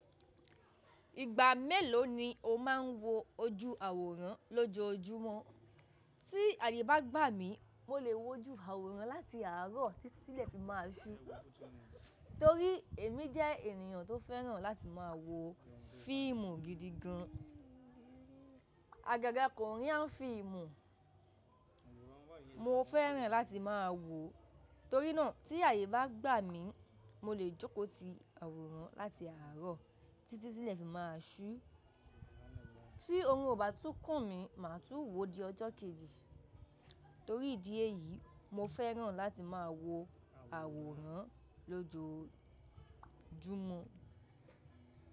Ìgbà mélòó ni o máa ń wo ojú àwòrán lọ́jọ́júmọ́? Tí àyè bá gbà mí, mo lè wo ojú àwòrán láti àárọ̀ títí tílẹ̀ fi máa ṣú. Torí èmi jẹ́ ènìyàn tó fẹ́ràn láti máa wo fíìmù gidi gan. Agaga Korean fíìmù mo fẹ́ràn láti máa wo. Torí náà tí àyè bá gbà mí, mo lè jókò ti àwòrán láti àárọ̀ títí tílẹ̀ fi máa ṣú. Tí oorun ò bá tún kùn mi, màá tún wò ó di ọjọ́ kejì. Torí ìdí èyí, mo fẹ́ràn láti máa wo àwòrán lójoójúmọ́.